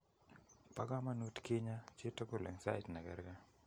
Boo komonut kinyaa chitugul eng' saait nekerkee